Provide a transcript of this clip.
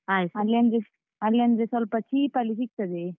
ಅಲ್ಲಿ ಅಂದ್ರೆ ಸ್ವಲ್ಪ cheap ಅಲ್ಲಿ ಸಿಗ್ತದೆ.